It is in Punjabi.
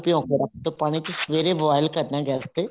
ਭਿਉ ਕੇ ਰੱਖ ਦੋ ਪਾਣੀ ਚ ਸਵੇਰੇ boil ਕਰਨਾ ਗੈਸ ਤੇ